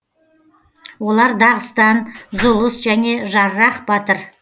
олар дағыстан зұлыс және жаррах батыр